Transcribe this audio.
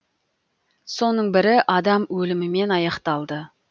соның бірі адам өлімімен аяқталды